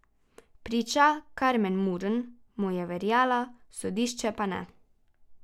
Priča Karmen Murn mu je verjela, sodišče pa ne.